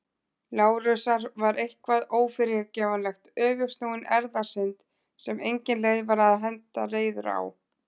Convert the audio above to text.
Lárusar var eitthvað ófyrirgefanlegt- öfugsnúin erfðasynd sem engin leið var að henda reiður á.